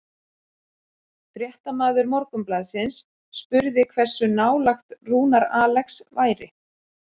Fréttamaður Morgunblaðsins spurði hversu nálægt Rúnar Alex væri?